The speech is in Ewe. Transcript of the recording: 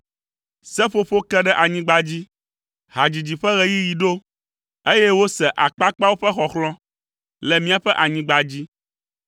Seƒoƒo ke ɖe anyigba dzi, hadzidzi ƒe ɣeyiɣi ɖo, eye wose akpakpawo ƒe xɔxlɔ̃ le míaƒe anyigba dzi.